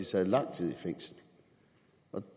sad lang tid i fængsel